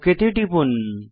okay তে টিপুন